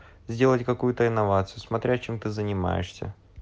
сделать какую-то инновацию смотря чем ты занимаешься